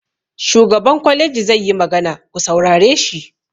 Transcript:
Shugaban kwaleji zai yi magana, ku saurare shi!